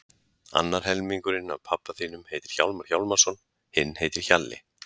Annar helmingurinn af pabba þínum heitir Hjálmar Hjálmarsson, hinn heitir Hjalli.